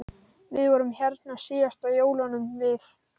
Við vorum hérna síðast á jólunum við